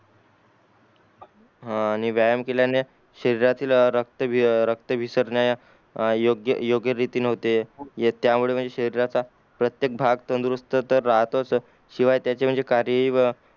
हां आणि व्यायाम केल्याने शरीरातील रक्त विसरण्या योग्य योग्य रीती न्हवते त्या मुले म्हणजे शरीरात प्रत्येक भाग तंदुरुस्त तर राहतो शिवाय त्याचे कार्य